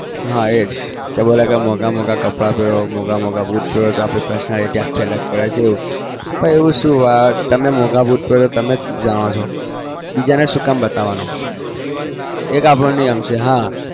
હા એજ કે મોગા મોગા કપડા પેરો boot આપડી personality આખી અલગ પડે તમે મોગા boot પેરો છો તમે જાણો છો બીજા ને શું બતાવાનું એજ આપનો નિયમ છે